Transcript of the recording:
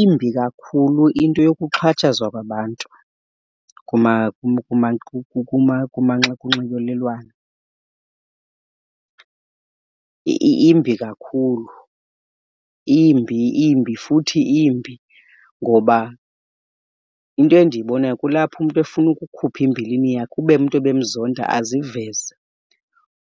Imbi kakhulu into yokuxhatshazwa kwabantu kunxibelelwano, imbi kakhulu. Imbi, imbi futhi imbi, ngoba into endiyibonayo kulapho umntu efuna ukukhupha imbilini yakhe, ube umntu ebemzonda aziveze.